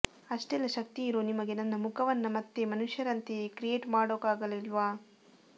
ಅಷ್ಟೆಲ್ಲ ಶಕ್ತಿ ಇರೋ ನಿಮಗೆ ನನ್ನ ಮುಖವನ್ನ ಮತ್ತೆ ಮನುಷ್ಯರಂತೆಯೇ ಕ್ರಿಯೇಟ್ ಮಾಡೋಕಾಗಲಿಲ್ವ